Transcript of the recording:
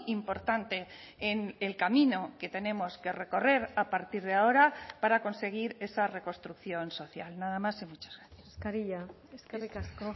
importante en el camino que tenemos que recorrer a partir de ahora para conseguir esa reconstrucción social nada más y muchas gracias eskerrik asko